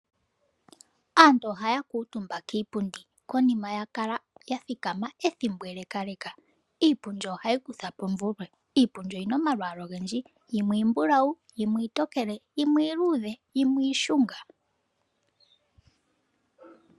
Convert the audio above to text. Aantu oha kuutumba kiipundi uuna ya kala yathikama ethimbo ele. Iipundi ohayi kutha po omvulwe noyina omalwalwa ogendji ngaashi iimbulawu, iitokele, iishunga nosho tuu.